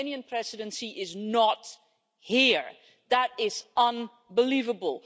The Romanian Presidency is not here, that is unbelievable.